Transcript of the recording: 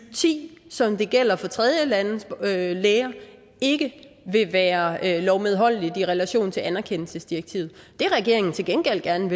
og ti som det gælder for tredjelandes læger ikke vil være lovmedholdeligt i relation til anerkendelsesdirektivet det regeringen til gengæld gerne